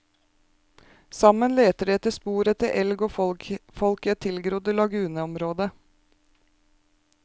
Sammen leter de etter spor etter elg og folk i et tilgrodd laguneområde.